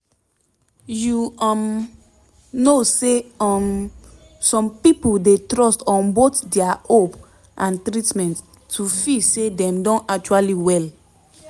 you um know say um some pipo dey trust on both dia hope and treatment to feel say dem don actually well